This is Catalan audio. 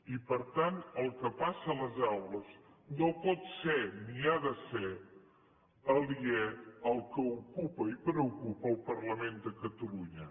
i per tant el que passa a les aules no pot ser ni ho ha de ser aliè al que ocupa i preocupa al parlament de catalunya